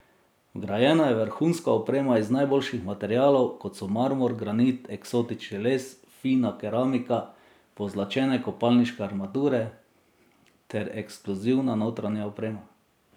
Vgrajena je vrhunska oprema iz najboljših materialov, kot so marmor, granit, eksotični les, fina keramika, pozlačene kopalniške armature ter ekskluzivna notranja oprema.